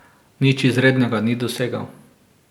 Nič izrednega ni dosegel.